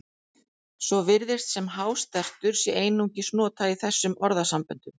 Svo virðist sem hástertur sé einungis notað í þessum orðasamböndum.